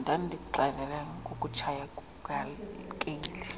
ndandikuxelela ngokutshaya kukakeli